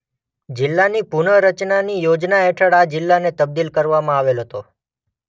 જિલ્લાની પુનઃરચનાની યોજના હેઠળ આ જિલ્લાને તબદીલ કરવામાં આવેલ હતો.